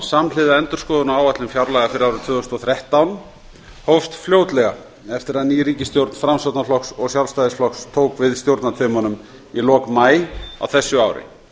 samhliða endurskoðun á áætlun fjárlaga fyrir árið tvö þúsund og þrettán hófst fljótlega eftir að ný ríkisstjórn framsóknarflokks og sjálfstæðisflokks tók við stjórnartaumunum í lok maí á þessu ári